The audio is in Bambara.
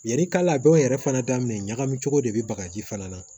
Yani kaw yɛrɛ fana daminɛ ɲagami cogo de bɛ bagaji fana na